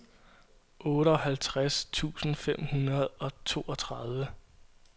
otteoghalvtreds tusind fem hundrede og toogtredive